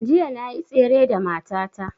Jiya na yi tsere da mata ta